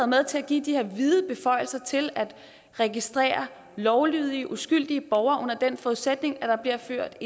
med til at give de her vide beføjelser til at registrere lovlydige uskyldige borgere under den forudsætning at der bliver ført